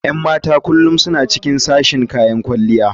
Yan matan kullum suna cikin sashen kayan kwalliya.